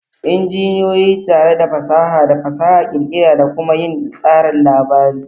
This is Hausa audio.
Injiniyoyi tare da fasaha da fasaha ƙirƙira da kuma yin tsarin labari.